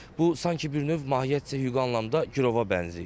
Bu sanki bir növ mahiyyətcə hüquqi anlamda girova bənzəyir.